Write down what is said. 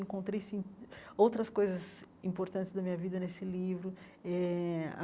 Encontrei sin outras coisas importantes da minha vida nesse livro eh.